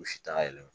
U si t'a yɛlɛma